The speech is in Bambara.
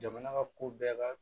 Jamana ka ko bɛɛ ka